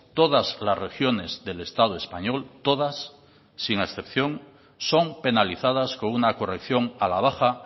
todas las regiones del estado español todas sin excepción son penalizadas con una corrección a la baja